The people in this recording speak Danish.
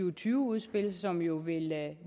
og tyve udspil som jo vil